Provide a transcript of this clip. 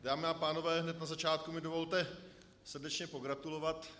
Dámy a pánové, hned na začátku mi dovolte srdečně pogratulovat.